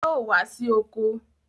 Yóò wá sí oko!